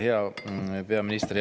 Hea peaminister!